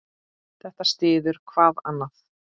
Þetta styður hvað annað.